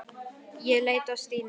Ég leit á Stínu.